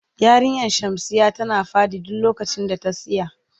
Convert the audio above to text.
Yarinyan shamsiya tana fadi duk lokacin da ta siya.